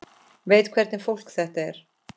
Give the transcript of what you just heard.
Veit hvernig fólk þetta er.